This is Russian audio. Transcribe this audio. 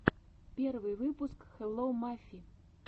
первый выпуск хелло мафи